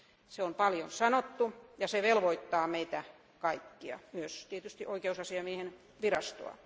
Se on paljon sanottu, ja se velvoittaa meitä kaikkia, myös tietysti oikeusasiamiehen virastoa.